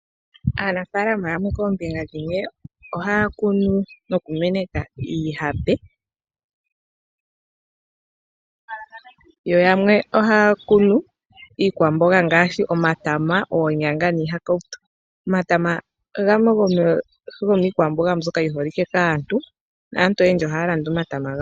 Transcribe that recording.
Aanafaalama yamwe koombinga dhimwe ohaya kunu noku meneka iihape, yo yamwe ohaya kunu iikwamboga ngaashi omatama, oonyanga niihakautu. Omatama gamwe gomiikwamboga mbyoka yiholike kaantu, naantu oyendji ohaya landa omatama.